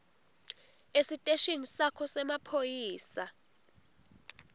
esiteshini sakho semaphoyisa